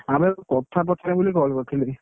ଆଉ ଭାଇ ଗୋଟେ କଥା ପଚାରିବି ବୋଲି call କରିଥିଲି